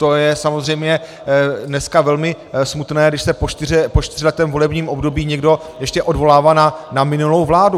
To je samozřejmě dneska velmi smutné, když se po čtyřletém volebním období někdo ještě odvolává na minulou vládu.